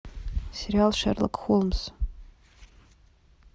сериал шерлок холмс